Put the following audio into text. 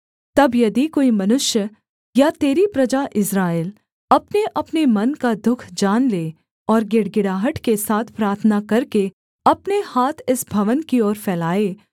तब यदि कोई मनुष्य या तेरी प्रजा इस्राएल अपनेअपने मन का दुःख जान लें और गिड़गिड़ाहट के साथ प्रार्थना करके अपने हाथ इस भवन की ओर फैलाए